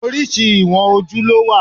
Oríṣi ìwọ̀n ojú ló wà.